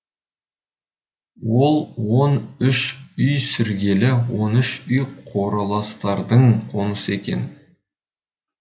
ол он үш үй сіргелі он үш үй қораластардың қонысы екен